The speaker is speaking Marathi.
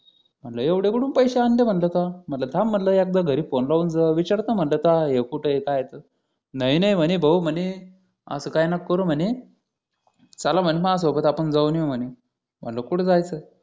म्हटलं एवढं कुठून पैसे आणले म्हटलं म्हटलं थांब एकदा म्हटलं एकदा घरी फोन लावून विचारतो की काय हा कुठे आहे काय आहे तर नाही नाही म्हणे भाऊ म्हणे असं काहीच नका करू म्हणे चला माझ्यासोबत आपण जाऊन येऊ म्हणे म्हटलं कुठे जायचं